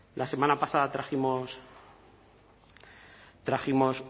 la semana pasada trajimos